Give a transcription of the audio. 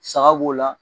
Saga b'o la